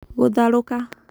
gũtharũka.